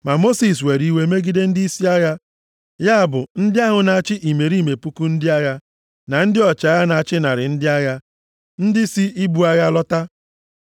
Ma Mosis were iwe megide ndịisi agha, ya bụ ndị ahụ na-achị imerime puku ndị agha, na ndị ọchịagha na-achị narị ndị agha, ndị si ibu agha lọta.